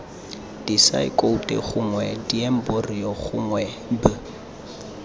disaekoute gongwe diemborio gongwe b